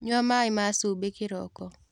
Nyua maĩma cumbĩkĩroko.